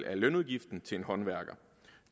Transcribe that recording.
af lønudgiften til en håndværker